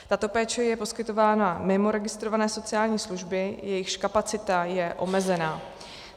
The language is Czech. Tato péče je poskytována mimo registrované sociální služby, jejichž kapacita je omezena.